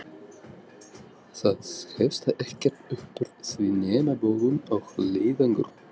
Það hefst ekkert uppúr því nema bölvun og leiðangur!